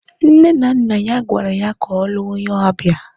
Nne na nna ya gwara ya ka ọ lụọ onye Abia